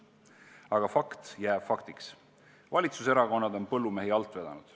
Aga fakt jääb faktiks: valitsuserakonnad on põllumehi alt vedanud.